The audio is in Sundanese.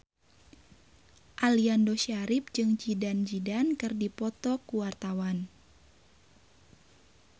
Aliando Syarif jeung Zidane Zidane keur dipoto ku wartawan